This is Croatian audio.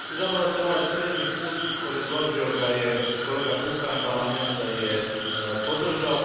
Izabrao sam ovaj srednji put, predložio ga je kolega Kukan, Parlament ga je podržao.